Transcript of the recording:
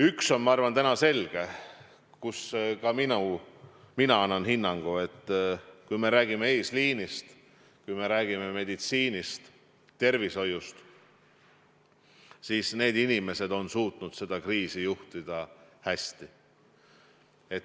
Üks asi on, ma arvan, täna selge, selles asjas annan ka mina hinnangu: kui me räägime eesliinist, kui me räägime meditsiinist, tervishoiust – need inimesed on suutnud seda kriisi juhtida hästi.